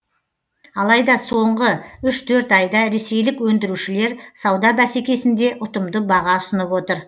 алайда соңғы үш төрт айда ресейлік өндірушілер сауда бәсекесінде ұтымды баға ұсынып отыр